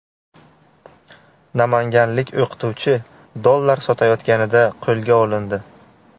Namanganlik o‘qituvchi dollar sotayotganida qo‘lga olindi.